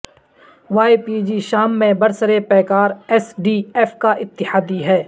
Y P G شام میں برسرپیکار ایس ڈی ایف کا اتحادی ہے